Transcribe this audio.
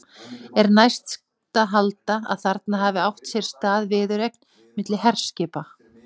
Er næst að halda, að þarna hafi átt sér stað viðureign milli herskipa.